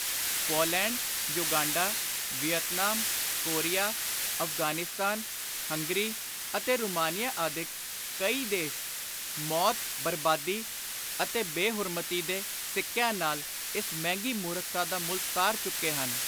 Poland, Uganda, Vietnam, Korea, Afghanistan, Hungary ਅਤੇ Romania ਆਦਿਕ ਕਈ ਦੇਸ਼ ਮੌਤ, ਬਰਬਾਦੀ ਅਤੇ ਬੇ-ਹੁਰਮਤੀ ਦੇ ਸਿੱਕਿਆਂ ਨਾਲ ਇਸ ਮਹਿੰਗੀ ਮੁਰਖਤਾ ਦਾ ਮੁੱਲ ਤਾਰ ਚੁੱਕੇ ਹਨ।